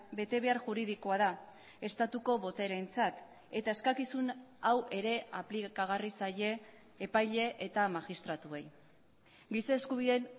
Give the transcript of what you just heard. betebehar juridikoa da estatuko boterentzat eta eskakizun hau ere aplikagarri zaie epaile eta magistratuei giza eskubideen